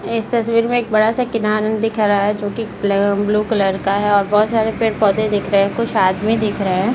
इस तस्वीर में एक बड़ा सा किरान दिख रहा है जो की ब्ल ब्लू कलर का है और बहुत सारे पेड़-पौधे दिख रहे हैं | कुछ आदमी दिख रहे हैं।